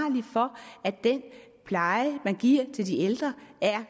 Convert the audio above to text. for at den pleje man giver til de ældre